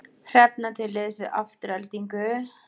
Hrefna til liðs við Aftureldingu